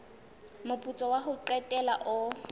moputso wa ho qetela o